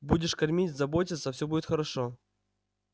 будешь кормить заботиться всё будет хорошо